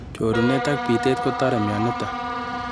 Chorunet ak bitet kotore mioniton